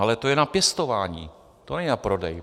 Ale to je na pěstování, to není na prodej.